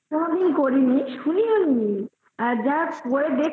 তা আমি করিনি শুনিওনি করে দেখতে হবে আদা